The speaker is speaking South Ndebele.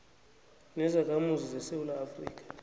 nezakhamuzi zesewula afrika